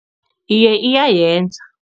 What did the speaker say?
Iye, iyayenza.